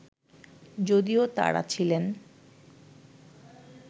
যদিও তাঁরা ছিলেন